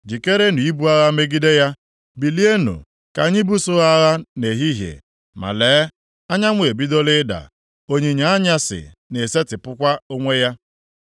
“Jikerenụ ibu agha megide ya! Bilienụ, ka anyị buso ha agha nʼehihie. Ma lee, anyanwụ ebidola ịda, onyinyo anyasị na-esetipụkwa onwe ya.